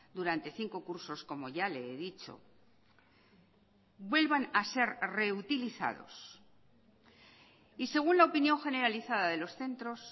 durante cinco cursos como ya le he dicho vuelvan a ser reutilizados y según la opinión generalizada de los centros